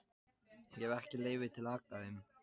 Ég hef ekki leyfi til að hagga þeim.